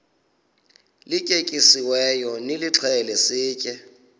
lityetyisiweyo nilixhele sitye